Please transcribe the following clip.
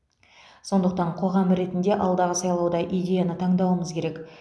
сондықтан қоғам ретінде алдағы сайлауда идеяны таңдауымыз керек